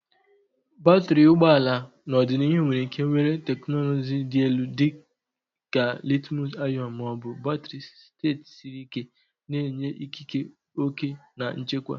Batrị ụgbọ ala n'ọdịnihu nwere ike were teknụzụ dị elu dị ka litiiumu-ionu ma ọ bụ batrị steeti siri ike, na-enye ikike, oke na nchekwa.